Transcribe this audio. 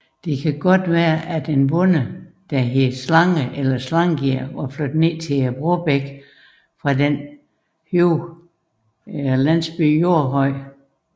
Sandsynligvis har en bonde ved navn Slange eller Slangir flyttet ned til Brobækken fra den højere beliggende landsby Jordhøj